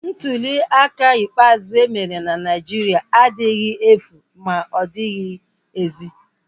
Ntuliaka ikpeazụ emere na Naijiria adịghị efu ma ozighi ezi